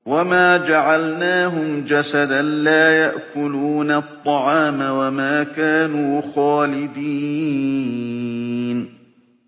وَمَا جَعَلْنَاهُمْ جَسَدًا لَّا يَأْكُلُونَ الطَّعَامَ وَمَا كَانُوا خَالِدِينَ